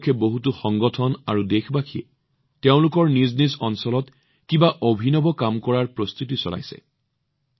এই উপলক্ষে বহুতো সংগঠন আৰু দেশবাসীয়ে তেওঁলোকৰ নিজ নিজ অঞ্চলৰ বিশেষ স্থানত নিজ নিজ স্তৰত কিবা অভিনৱ কাম কৰাৰ প্ৰস্তুতি চলাইছে